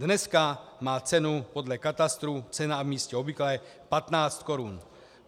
Dneska má cenu podle katastru, ceny a místa obvyklé, 15 korun.